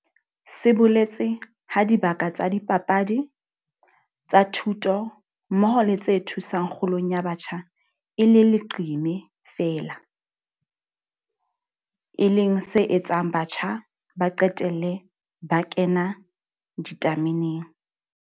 Se boletse ha dibaka tsa dipapadi, tsa thuto mmoho le tse thusang kgolong ya batjha e le leqeme feela, e leng se etsang batjha ba qetelle ba kena ditameneng.